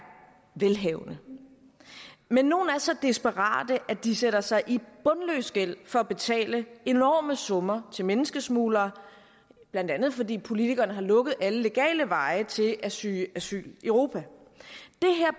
velhavende men nogle af så desperate at de sætter sig i bundløs gæld for at betale enorme summer til menneskesmuglere blandt andet fordi politikerne har lukket alle legale veje til at søge asyl i europa